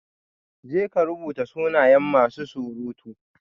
Jeka rubuta sunayen masu surutu